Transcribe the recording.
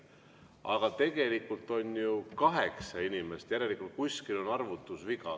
Aga tegelikult on ju kaheksa inimest, järelikult kuskil on arvutusviga.